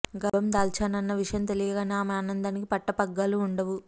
గర్భం దాల్చాను అన్న విషయం తెలియగానే ఆమె ఆనందానకి పట్టపగ్గాలు ఉండవు